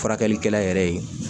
Furakɛlikɛla yɛrɛ ye